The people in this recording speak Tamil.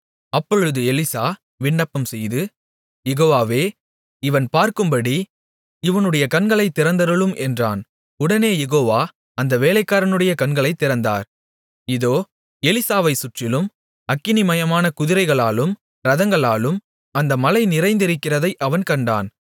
அப்பொழுது எலிசா விண்ணப்பம்செய்து யெகோவாவே இவன் பார்க்கும்படி இவனுடைய கண்களைத் திறந்தருளும் என்றான் உடனே யெகோவா அந்த வேலைக்காரனுடைய கண்களைத் திறந்தார் இதோ எலிசாவைச்சுற்றிலும் அக்கினிமயமான குதிரைகளாலும் இரதங்களாலும் அந்த மலை நிறைந்திருக்கிறதை அவன் கண்டான்